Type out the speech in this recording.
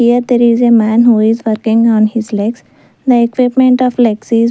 Here there is a man who is working on his legs the equipment of the legs is --